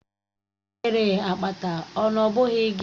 Ị nwere akpata, ọ nọ bụghị gị?